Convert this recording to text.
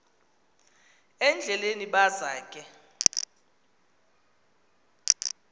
endleleni baza ke